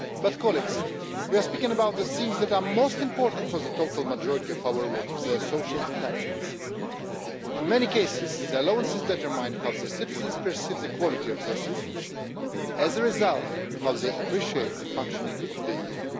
But colleagues, we are speaking about the things that are most important for the total majority of our workers, their social entitlements. In many cases, allowances determine how the citizens perceive the quality of their citizenship and as a result, how they appreciate the functioning of the EU.